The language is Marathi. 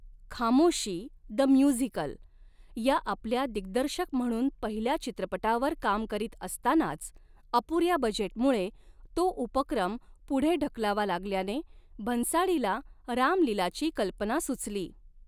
खामोशी द म्युझिकल' या आपल्या दिग्दर्शक म्हणून पहिल्या चित्रपटावर काम करीत असतानाच, अपुऱ्या बजेटमुळे तो उपक्रम पुढे ढकलावा लागल्याने, भन्साळीला राम लीलाची कल्पना सुचली.